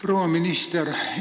Proua minister!